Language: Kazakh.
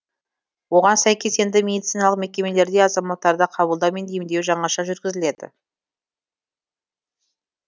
оған сәйкес енді медициналық мекемелерде азаматтарды қабылдау мен емдеу жаңаша жүргізіледі